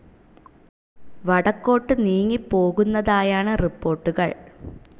വടക്കോട്ട് നീങ്ങി പോകുന്നതായാണ് റിപ്പോർട്ടുകൾ.